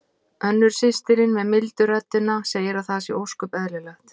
Önnur systirin með mildu röddina segir að það sé ósköp eðlilegt.